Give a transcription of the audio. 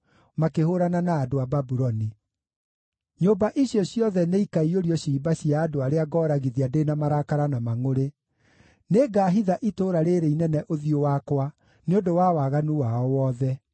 makĩhũũrana na andũ a Babuloni: ‘Nyũmba icio ciothe nĩikaiyũrio ciimba cia andũ arĩa ngooragithia ndĩ na marakara na mangʼũrĩ. Nĩngahitha itũũra rĩĩrĩ inene ũthiũ wakwa nĩ ũndũ wa waganu wao wothe.